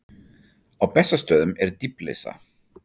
Á Bessastöðum er dýflissa.